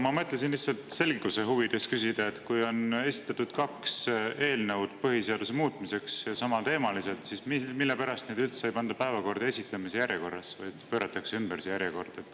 Ma mõtlesin lihtsalt selguse huvides küsida, et kui on esitatud kaks eelnõu põhiseaduse muutmiseks ja need on samateemalised, siis mispärast neid üldse ei panda päevakorda esitamise järjekorras, vaid pööratakse see järjekord ümber?